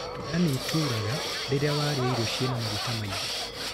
Ndaa nĩĩturaga rĩrĩa warĩa irio ciĩna maguta maingi